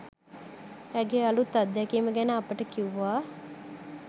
ඇගේ අලුත් අත්දැකීම ගැන අපට කිව්වා.